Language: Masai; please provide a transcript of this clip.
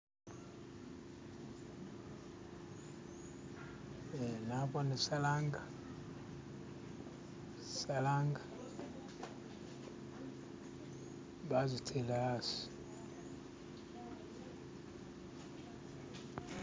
eh nabone sharanga sharanga bazitele asi.